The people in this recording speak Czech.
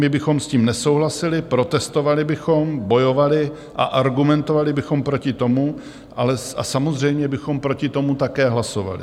My bychom s tím nesouhlasili, protestovali bychom, bojovali a argumentovali bychom proti tomu a samozřejmě bychom proti tomu také hlasovali.